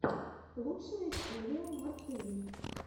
лучшая серия марции